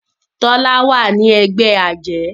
Tola wá nínú ègbé ajé.